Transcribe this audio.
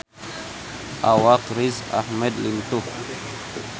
Awak Riz Ahmed lintuh